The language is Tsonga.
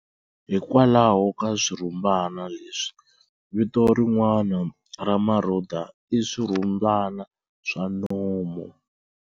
Hikwalaho ka swirhumbana leswi, vito rin'wana ra marhuda i "swirhumbana swa nomu".